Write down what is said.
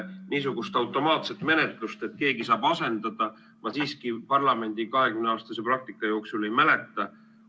Niisugust automaatset menetlust, et keegi saab asendada, ma siiski parlamendi 20-aastase praktika jooksul ei mäleta.